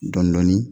Dɔndɔni